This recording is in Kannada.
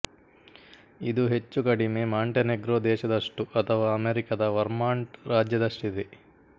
ಇದು ಹೆಚ್ಚು ಕಡಿಮೆ ಮಾಂಟೆನೆಗ್ರೊ ದೇಶದಷ್ಟು ಅಥವಾ ಅಮೆರಿಕದ ವರ್ಮಾಂಟ್ ರಾಜ್ಯದಷ್ಟಿದೆ